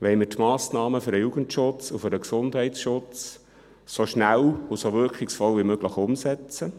Wollen wir die Massnahmen des Jugendschutzes und des Gesundheitsschutzes so schnell und so wirkungsvoll wie möglich umsetzen?